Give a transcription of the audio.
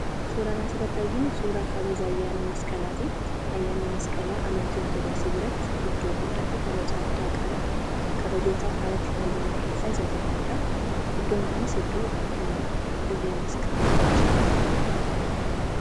Suuraan asirratti arginu suuraa kabaja ayyaana masqalaati. Ayyaanni Masqalaa amantii Ortodoksii biratti iddoo guddaa fi kabaja guddaa qaba. Kabajoota alatti kabajaman keessaa isa tokkodha. Iddoon kunis dirree masqaliiti.